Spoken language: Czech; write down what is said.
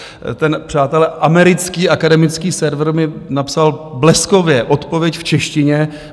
Ten, přátelé, americký akademický server mi napsal bleskově odpověď v češtině.